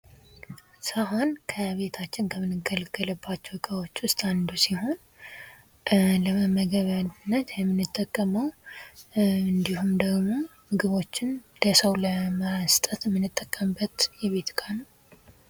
ሳህን ከቤታችን ከምንገለገልባቸው ዕቃዎች ውስጥ አንዱ ሲሆን፤ ለመመገቢያነት የምንጠቀመው እንዲሁም ደግሞ ምግቦችን ለሰው ለመስጠት የምንጠቀምበት የቤት ዕቃ ነው።